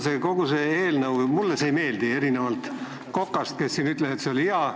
Mulle kogu see eelnõu ei meeldi, erinevalt Kokast, kes ütles, et see on hea.